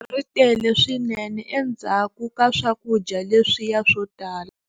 Ri tele swinene endzhaku ka swakudya leswiya swo tala.